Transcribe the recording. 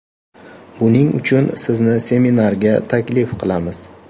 Buning uchun sizni seminarga taklif qilamiz.